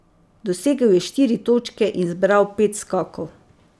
Dosegel je štiri točke in zbral pet skokov.